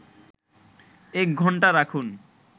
১ ঘন্টা রাখুন